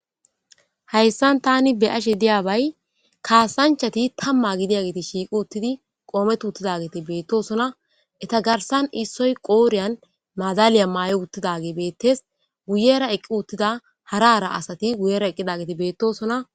hayssan tani beyashe diyabay kaasanchati tamma gidiya giti shiiqi uttidi qoomet uttidageti beettosona eta garsan issoy qooriyan maadaliya maay7o uttidage beettes guyera eqqi uttida harara asati guyera eqqidageti beettosona